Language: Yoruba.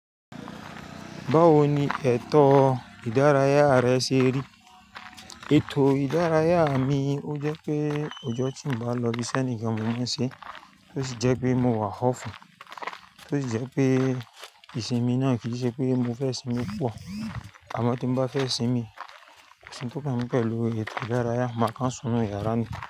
Báwo ni ètò ìdárayá rẹ ṣe rí? Ètò ìdárayá mi ó jẹ́ pé ọjọ́ tí n bá lọ ibi tí ẹni kan mú mi sí, ó sì jẹ́ pé mo wà ọ́fùn, tó sì jẹ́ pé ìsinmi náà kì í ṣe pé mo fẹ́ sinmi púpọ̀. Àmọ́ tí mo bá fẹ́ sinmi, ó ṣe pé kí n pẹ̀lú ètò ìdárayá máa kan sọnù yàrá mi.